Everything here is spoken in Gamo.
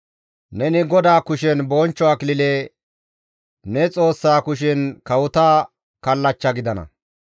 Neni GODAA kushe bonchcho akilile, ne Xoossa kushen kawota kallachcha gidana.